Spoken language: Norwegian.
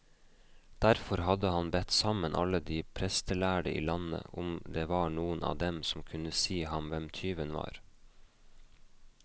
Derfor hadde han bedt sammen alle de prestlærde i landet, om det var noen av dem som kunne si ham hvem tyven var.